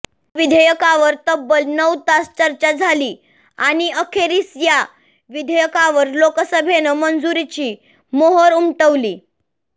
या विधेयकावर तब्बल नऊ तास चर्चा झाली आणि अखेरीस या विधेयकावर लोकसभेनं मंजुरीची मोहर उमटवली